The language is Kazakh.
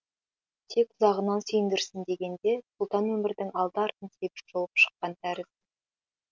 тек ұзағынан сүйіндірсін дегенде сұлтан өмірдің алды артын тегіс шолып шыққан тәрізді